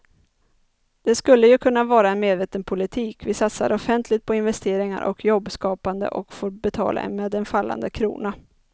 Det skulle ju kunna vara en medveten politik, vi satsar offentligt på investeringar och jobbskapande och får betala med en fallande krona.